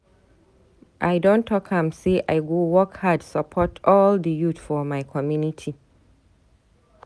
I don talk am say I go work hard support all di youth for my community.